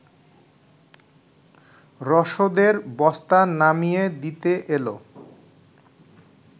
রসদের বস্তা নামিয়ে দিতে এল